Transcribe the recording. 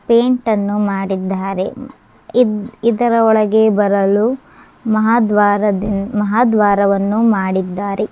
paint ಅನ್ನು ಮಾಡಿದ್ದಾರೆ ಇದ್ ಇದರೊಳಗೆ ಬರಲು ಮಹಾದ್ವಾರದಿಂದ ಮಹಾದ್ವಾರವನ್ನು ಮಾಡಿದ್ದಾರೆ